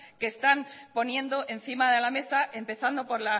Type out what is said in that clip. que están poniendo encima de la mesa empezando por